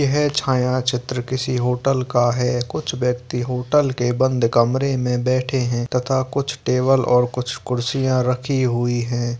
यह छाया चित्र किसी होटल का है कुछ व्यक्ति होटल के बंद कमरे में बैठे हैं तथा कुछ टेबल और कुछ कुर्सियाँ रखी हुई हैं।